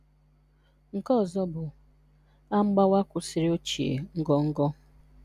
Nke ọzọ bụ: “A mgbawa kwụsịrị ochie ngọngọ.”